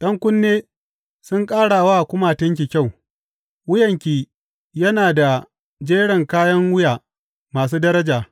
’Yan kunne sun ƙara wa kumatunki kyau, wuyanki yana da jerin kayan wuya masu daraja.